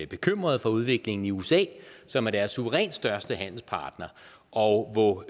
bekymrede for udviklingen i usa som er deres suverænt største handelspartner og hvor